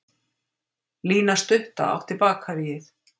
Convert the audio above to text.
Lína stutta átti Bakaríið.